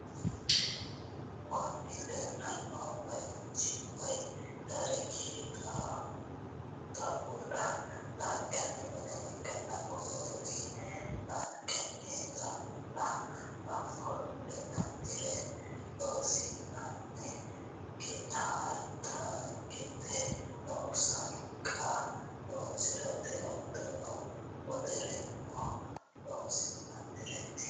Kuni lelano bayichi woy darigi xaulla laniganni minee ikana kuri lanigani taullano offolinanire losirate gettatagete no saniqqa loosirate hatono wolerreno loosirate.